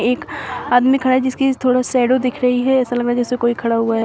एक आदमी खड़ा है जिसकी थोड़ा शैडो दिख रही है ऐसा लग रहा है जैसे कोई खड़ा हुआ है।